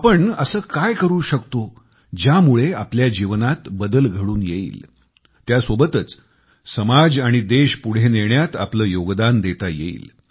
आपण असं काय करू शकतो ज्यामुळे आपल्या जीवनात बदल घडवून येईल त्यासोबतच समाज आणि देश पुढे नेण्यात आले योगदान देता येईल